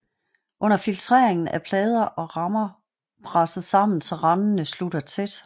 Under filtreringen er plader og rammer presset sammen så randene slutter tæt